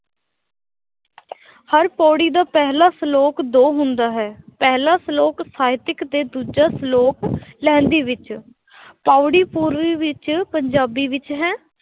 ਹਰ ਪਾਉੜੀ ਦਾ ਪਹਿਲਾ ਸ਼ਲੋਕ ਦੋ ਹੁੰਦਾ ਹੈ ਪਹਿਲਾਂ ਸ਼ਲੋਕ ਸਾਹਿਤਕ ਤੇ ਦੂਜਾ ਸ਼ਲੋਕ ਲਹਿੰਦੀ ਵਿੱਚ ਪਾਉੜੀ ਪੂਰਬੀ ਵਿੱਚ ਪੰਜਾਬੀ ਵਿੱਚ ਹੈ